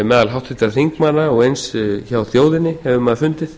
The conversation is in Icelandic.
meðal háttvirtra þingmanna og eins hjá þjóðinni hefur maður fundið